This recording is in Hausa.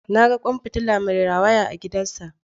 Na ga kwan fitila mai rawaya a gidansa